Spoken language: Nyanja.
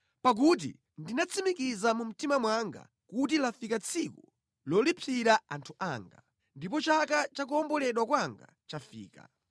Pakuti ndinatsimikiza mu mtima mwanga kuti lafika tsiku lolipsira anthu anga; ndipo chaka cha kuwomboledwa kwanga chafika.